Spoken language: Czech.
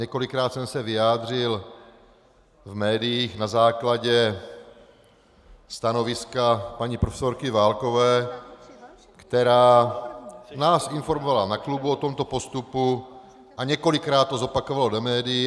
Několikrát jsem se vyjádřil v médiích na základě stanoviska paní profesorky Válkové, která nás informovala na klubu o tomto postupu a několikrát to zopakovala do médií.